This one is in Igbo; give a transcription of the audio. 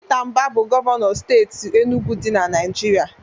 Pita Mbah bu Gọvanọ steeti Enugwu di na Naijiria.